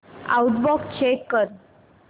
outbox check कर